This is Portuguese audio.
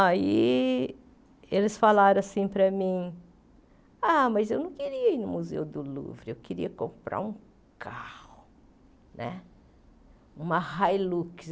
Aí eles falaram assim para mim, ah mas eu não queria ir no Museu do Louvre, eu queria comprar um carro né, uma Hilux.